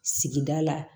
Sigida la